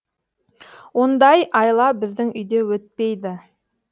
ондай айла біздің үйде өтпейді